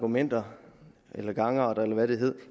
argumenter eller gangarter eller hvad det hed